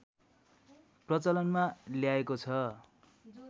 प्रचलनमा ल्याएको छ